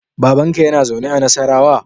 Babanka yana zaune a Nassarawa?